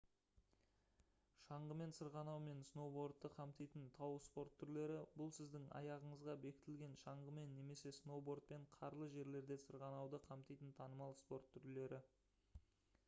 шаңғымен сырғанау мен сноубордты қамтитын тау спорт түрлері бұл сіздің аяғыңызға бекітілген шаңғымен немесе сноубордпен қарлы жерлерде сырғанауды қамтитын танымал спорт түрлері